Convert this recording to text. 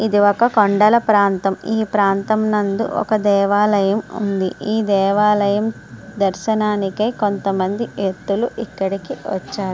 ఇది ఒక కొండల ప్రాంతం. ఈ ప్రాంతం నందు ఒక దేవాలయం ఉంది. ఈ దేవాలయం దర్శనానికే కొంతమంది వెక్తులు ఇక్కడికి వచ్చారు.